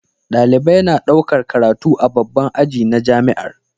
Dalibai na ɗaukar karatu a babban aji na jamiar